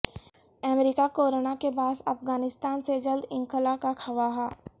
امریکہ corona کے باعث افغانستان سے جلد انخلاء کا خواہاں